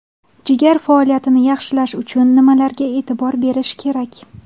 Jigar faoliyatini yaxshilash uchun nimalarga e’tibor berish kerak?